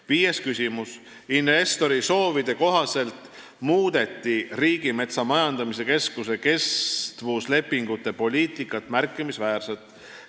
Viies küsimus: "Investorite soovide kohaselt muudeti Riigimetsa Majandamise Keskuse kestvuslepingute poliitikat märkimisväärselt.